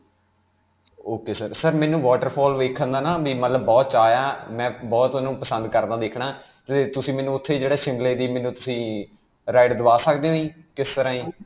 ok sir. sir, ਮੈਨੂੰ waterfall ਵੇਖਣ ਦਾ ਨਾ ਮਮ ਮਤਲਬ ਬੜਾ ਚਾਅ ਹੈ. ਮੈਂ ਬਹੁਤ ਉਹਨੂੰ ਪਸੰਦ ਕਰਦਾ ਦੇਖਣਾ, 'ਤੇ ਤੁਸੀਂ ਮੈਨੂੰ ਉਥੇ ਜਿਹੜਾ Shimla ਦੀ ਮੈਨੂੰ ਤੁਸੀਂ ride ਦਵਾ ਸਕਦੇ ਹੋ ਜੀ? ਕਿਸ ਤਰ੍ਹਾਂ ਜੀ?